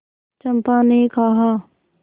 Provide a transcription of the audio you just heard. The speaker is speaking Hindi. चंपा ने कहा